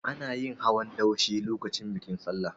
Ana yin hawan daushe lokacin bikin Sallah.